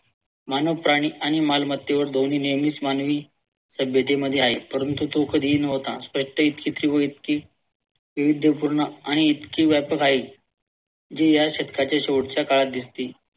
मानव, प्राणी आणि मालमत्तेवर ध्वनी नियमांस मानवी सभ्यतेमध्ये आहे परंतु तो कधीही नव्हता. इतकी विविध पूर्ण आणि इतकी व्यापक आहे जी या शतकाच्या शेवटच्या काळात दिसते